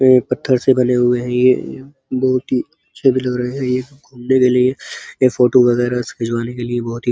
ये पत्थर से बने हुए हैं। ये बहोत ही अच्छे भी लग रहे हैं। ये घूमने के लिए या फोटो वगैराह से खिंचवाने के लिए बहोत ही --